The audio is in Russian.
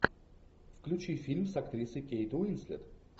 включи фильм с актрисой кейт уинслет